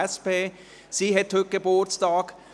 Sie hat heute Geburtstag.